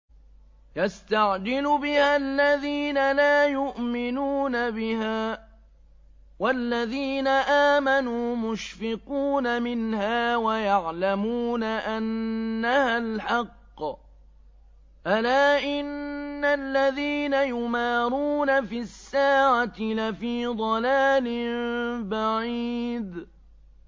يَسْتَعْجِلُ بِهَا الَّذِينَ لَا يُؤْمِنُونَ بِهَا ۖ وَالَّذِينَ آمَنُوا مُشْفِقُونَ مِنْهَا وَيَعْلَمُونَ أَنَّهَا الْحَقُّ ۗ أَلَا إِنَّ الَّذِينَ يُمَارُونَ فِي السَّاعَةِ لَفِي ضَلَالٍ بَعِيدٍ